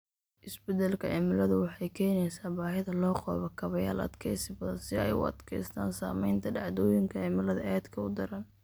Isbeddelka cimiladu waxay keenaysaa baahida loo qabo kaabayaal adkeysi badan si ay ugu adkeystaan saameynta dhacdooyinka cimilada aadka u daran.